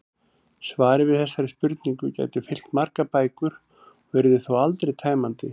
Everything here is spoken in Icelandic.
Svarið við þessari spurningu gæti fyllt margar bækur og yrði þó aldrei tæmandi.